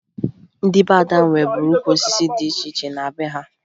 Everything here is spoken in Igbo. Ndị be Ada nweburu ukwu osisi dị iche iche na be ha